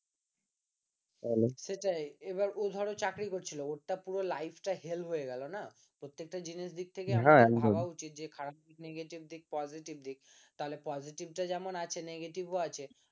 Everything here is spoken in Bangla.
সেটাই এবার ও ধরো চাকরি করছিল ওর তো পুরো life টা hell হয়ে গেল না তো প্রত্যেকটা জিনিসের দিক থেকে ভাবা উচিত খারাপ negative দিক positive দিক তাহলে positive টা যেমন আছে negative ও আছে